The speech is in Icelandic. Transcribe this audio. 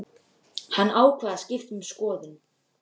Hann ákvað að skipta um skoðun.